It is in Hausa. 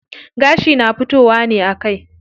Gashi na fitowa ne a kai.